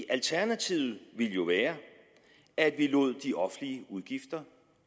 alternativet ville jo være at vi lod de offentlige udgifter